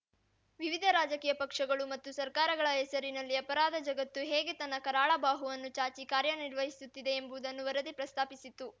ವಿವಿಧ ರಾಜಕೀಯ ಪಕ್ಷಗಳು ಮತ್ತು ಸರ್ಕಾರಗಳ ಹೆಸರಲ್ಲಿ ಅಪರಾಧ ಜಗತ್ತು ಹೇಗೆ ತನ್ನ ಕರಾಳಬಾಹುವನ್ನು ಚಾಚಿ ಕಾರ್ಯನಿರ್ವಹಿಸುತ್ತಿದೆ ಎಂಬುವುದನ್ನು ವರದಿ ಪ್ರಸ್ತಾಪಿಸಿತ್ತು